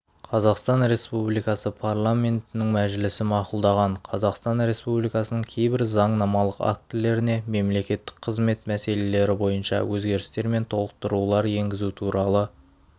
қазақстан республикасы парламентінің мәжілісі мақұлдаған қазақстан республикасының кейбір заңнамалық актілеріне мемлекеттік қызмет мәселелері бойынша өзгерістер мен толықтырулар енгізу туралы